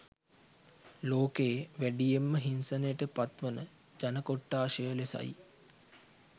ලෝකයේ වැඩියෙන්ම හිංසනයට පත් වන ජන කොට්ඨාශය ලෙසයි